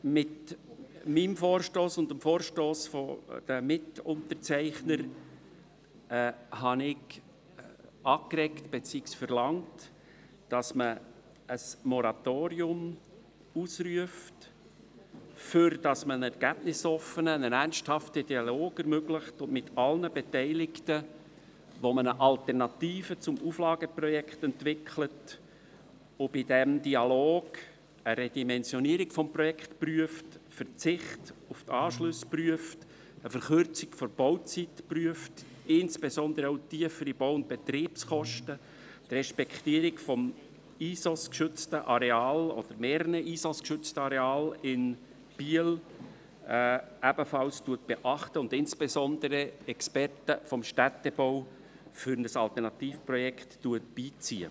Mit diesem Vorstoss haben ich und meine Mitunterzeichner angeregt, beziehungsweise verlangt, dass man ein Moratorium ausruft, damit man einen ergebnisoffenen, einen ernsthaften Dialog mit allen Beteiligten ermöglicht, mit welchem man eine Alternative zum Auflageprojekt entwickelt und bei diesem Dialog eine Redimensionierung des Projekts prüft, einen Verzicht auf die Anschlüsse prüft, eine Verkürzung der Bauzeit prüft, insbesondere auch tiefere Bau- und Betriebskosten, die Respektierung des Bundesinventars der schützenswerten Ortsbilder der Schweiz (ISOS)-geschützten Areals – oder mehreren ISOS-geschützten Areale – in Biel ebenfalls beachtet, und insbesondere Experten des Städtebaus für ein Alternativprojekt beizieht.